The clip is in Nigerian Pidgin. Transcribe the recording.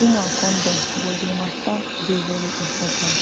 woman condom but di matter dey very important